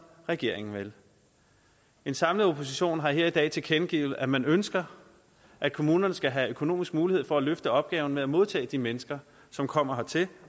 regeringen vil en samlet opposition har her i dag tilkendegivet at man ønsker at kommunerne skal have økonomisk mulighed for at løfte opgaven med at modtage de mennesker som kommer hertil